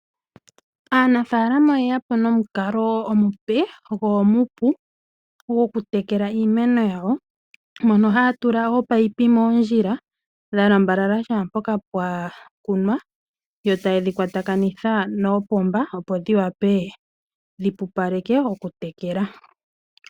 Aanafaalama oyeyapo nomukalo omupe go omupu goku tekela iimeno yawo mono haya tula ominino moondjila dha lambalala kehe mpoka pwa kunwa yo tayedhi kwatakanitha noopomba opo dhiwape dhi pupaleke oku tekela.